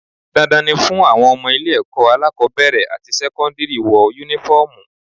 Dandan ni fún àwọn ọmọ ilé ẹ̀kọ́ alákọ́bẹ̀rẹ̀ àti sẹ́kọ́ndírì wọ Únífọ́ọ̀mù